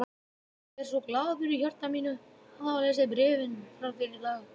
Ég er svo glaður í hjarta mínu að hafa lesið bréfin frá þér í dag.